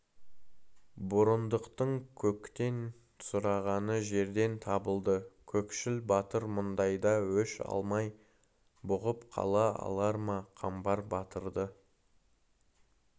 бұрындықтың көктен сұрағаны жерден табылды кекшіл батыр мұндайда өш алмай бұғып қала алар ма қамбар батырды